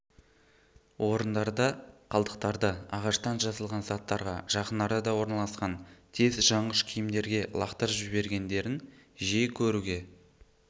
орындарда қалдықтарды ағаштан жасалған заттарға жақын арада орналасқан тез жаңғыш киімдерге лақтырып жібергендерін жиі көруге